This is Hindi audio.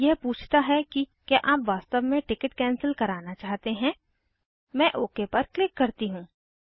अब यह पूछता है कि क्या आप वास्तव में टिकिट कैंसिल करना चाहते हैं मैं ओके पर क्लिक करती हूँ